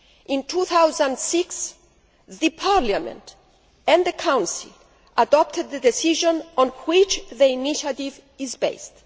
In 2006, Parliament and the Council adopted the decision on which the initiative is based.